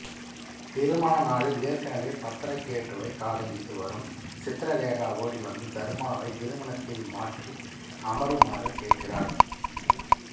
திருமண நாளில் ஏற்கனவே பத்ரகேட்டுவை காதலித்து வரும் சித்ரலேகா ஓடிவந்து தர்மாவை திருமணத்தில் மாற்றி அமருமாறு கேட்கிறாள்